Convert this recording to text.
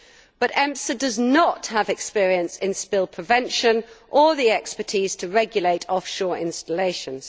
However, EMSA does not have experience in spill prevention nor the expertise to regulate offshore installations.